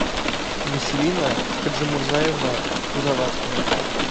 василина хаджимурзаевна кузоваткина